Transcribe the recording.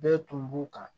Bɛɛ tun b'u kan